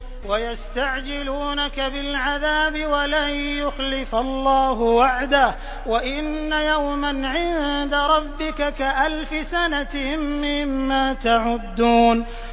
وَيَسْتَعْجِلُونَكَ بِالْعَذَابِ وَلَن يُخْلِفَ اللَّهُ وَعْدَهُ ۚ وَإِنَّ يَوْمًا عِندَ رَبِّكَ كَأَلْفِ سَنَةٍ مِّمَّا تَعُدُّونَ